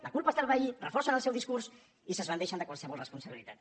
la culpa és del veí reforcen el seu discurs i s’esbandeixen qualsevol responsabilitat